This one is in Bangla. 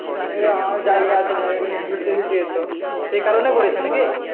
সে কারনে করেছে না কি